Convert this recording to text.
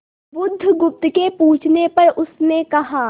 बुधगुप्त के पूछने पर उसने कहा